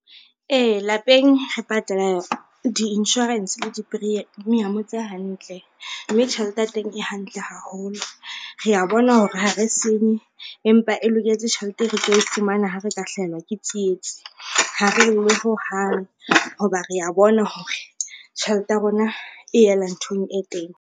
Ee, lapeng re patala di-insurance le di-premium tse hantle mme tjhelete ya teng e hantle haholo. Rea bona hore ha re senye empa e loketse tjhelete e re tlo e fumana ha re ka hlahelwa ke tsietsi, ha re lle hohang ho ba rea bona hore tjhelete ya rona e yela nthong e teng.